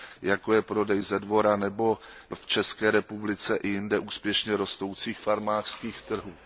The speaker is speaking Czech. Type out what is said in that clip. jako je prodej ze dvora nebo v České republice i jinde úspěšně rostoucí prodej z farmářských trhů.